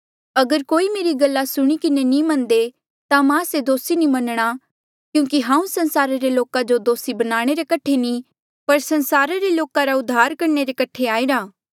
अगर कोई मेरी गल्ला सुणी किन्हें नी मन्ने ता मां से दोसी नी मनणा क्यूंकि हांऊँ संसारा रे लोका जो दोसी बनाणे रे कठे नी पर संसारा रे लोका रा उद्धार करणे रे कठे आईरा